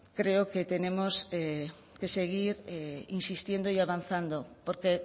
creo que tenemos que seguir insistiendo y avanzando porque